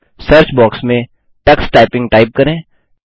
search box में Tux typing type करें